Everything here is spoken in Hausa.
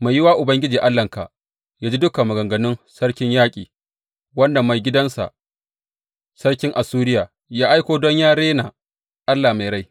Mai yiwuwa Ubangiji Allahnka ya ji dukan maganganun sarkin yaƙi, wanda maigidansa, sarkin Assuriya, ya aiko don yă rena Allah mai rai.